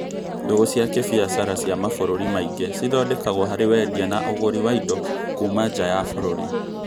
Ndũgũ cia kĩbīacara cia mabũrũri maingĩ cithondekagwo harĩ wendia na ũgũri wa indo kũũma nja ya bũrũri